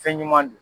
Fɛn ɲuman don